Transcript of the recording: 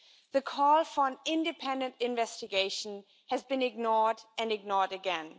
The call for an independent investigation has been ignored and ignored again.